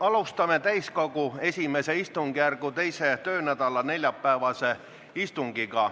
Alustame täiskogu I istungjärgu 2. töönädala neljapäevast istungit.